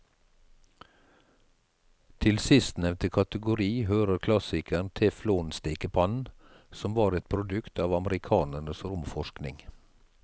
Til sistnevnte kategori hører klassikeren teflonstekepannen, som var et produkt av amerikanernes romforskning.